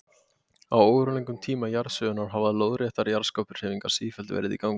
Á óralöngum tíma jarðsögunnar hafa lóðréttar jarðskorpuhreyfingar sífellt verið í gangi.